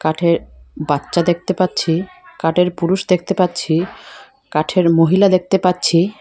কাঠের বাচ্চা দেখতে পাচ্ছি কাঠের পুরুষ দেখতে পাচ্ছি কাঠের মহিলা দেখতে পাচ্ছি।